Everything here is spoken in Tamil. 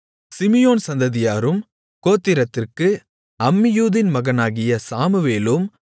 சிமியோன் சந்ததியாரும் கோத்திரத்திற்கு அம்மியூதின் மகனாகிய சாமுவேலும்